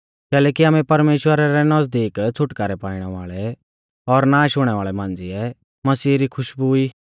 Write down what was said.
कैलैकि आमै परमेश्‍वरा रै नज़दीक छ़ुटकारौ पाइणा वाल़ै और नाश हुणै वाल़ै मांझ़िऐ मसीह री खुशबु ई